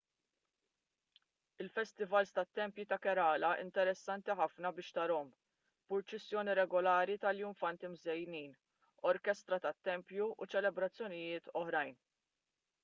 il-festivals tat-tempji ta' kerala interessanti ħafna biex tarahom b'purċissjoni regolari ta' iljunfanti mżejnin orkestra tat-tempju u ċelebrazzjonijiet oħrajn